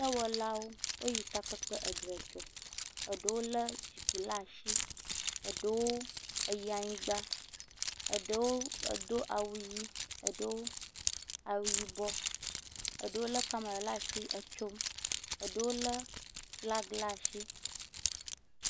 Dɔwɔla woyi takpekpe edzre dzɔ. Eɖewo le zikpui ɖe asi. Eɖewo eyi anyigba, eɖewo edo awu ʋi, eɖewo awu yibɔ, eɖewo le kamera ɖe asi etso, eɖewo le flaga ɖe asi.